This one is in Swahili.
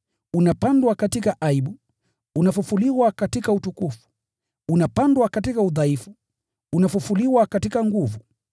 unapandwa katika aibu, unafufuliwa katika utukufu, unapandwa katika udhaifu, unafufuliwa katika nguvu,